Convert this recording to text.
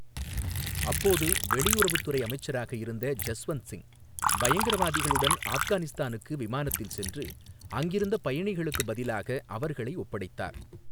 அப்போது வெளியுறவுத்துறை அமைச்சராக இருந்த ஜஸ்வந்த் சிங் பயங்கரவாதிகளுடன் ஆஃப்கானிஸ்தானுக்கு விமானத்தில் சென்று அங்கிருந்த பயணிகளுக்குப் பதிலாக அவர்களை ஒப்படைத்தார்.